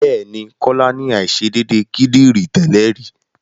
Bẹ́ẹ̀ ni, Kọ́lá ní àìṣedédé kídìrí tẹ́lè rí.